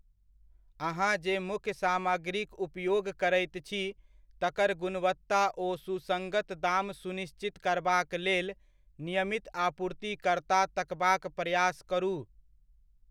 अहां जे मुख्य सामग्रीक उपयोग करैत छी तकर गुणवत्ता ओ सुसंगत दाम सुनिश्चित करबाक लेल नियमित आपूर्तिकर्ता तकबाक प्रयास करू।